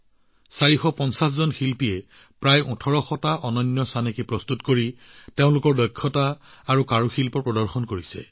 ৪৫০গৰাকী শিল্পীয়ে প্ৰায় ১৮০০টা ইউনিক পেচৰ এক আচৰিত সংগ্ৰহ সৃষ্টি কৰি নিজৰ দক্ষতা আৰু কাৰুকাৰ্য্য প্ৰদৰ্শন কৰিছে